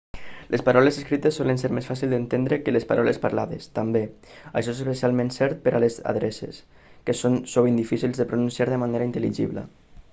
les paraules escrites solen ser més fàcils d'entendre que les paraules parlades també això és especialment cert per a les adreces que són sovint difícils de pronunciar de manera intel·ligible